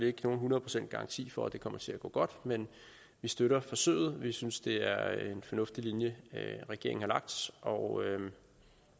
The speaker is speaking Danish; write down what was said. ikke nogen hundrede procents garanti for at det kommer til at gå godt men vi støtter forsøget vi synes det er en fornuftig linje regeringen har lagt og er